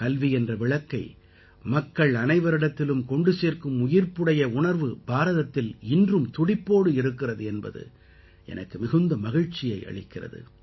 கல்வி என்ற விளக்கை மக்கள் அனைவரிடத்திலும் கொண்டு சேர்க்கும் உயிர்ப்புடைய உணர்வு பாரதத்தில் இன்றும் துடிப்போடு இருக்கிறது என்பது எனக்கு மிகுந்த மகிழ்ச்சியை அளிக்கிறது